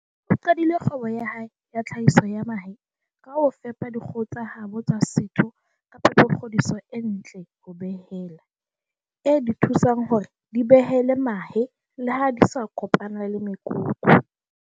O qadile kgwebo ya hae ya tlhahiso ya mahe ka ho fepa dikgoho tsa habo tsa setho ka phepokgodiso e ntlafatsang ho behela, e di thusang hore di behele mahe le ha di sa kopana le mekoko.